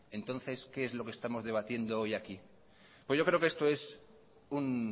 entonces qué es lo que estamos debatiendo hoy aquí pues yo creo que esto es un